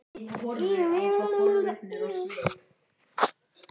Hvað átti hann sem fremsti maður að gera annað?